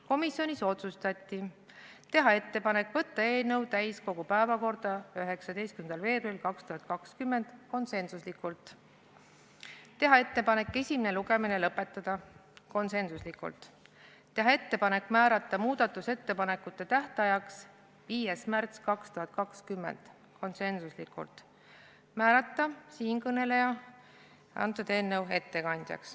Komisjonis otsustati teha ettepanek saata eelnõu täiskogu päevakorda 19. veebruariks 2020 , teha ettepanek esimene lugemine lõpetada , teha ettepanek määrata muudatusettepanekute esitamise tähtajaks 5. märts 2020 ja määrata siinkõneleja eelnõu ettekandjaks .